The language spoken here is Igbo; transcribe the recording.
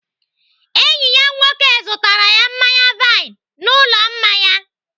Enyi ya nwoke zụtara ya mmanya vine n'ụlọ mmanya.